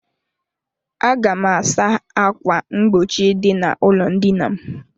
Aga m asa ákwà mgbochi dị n'ụlọ ndina m.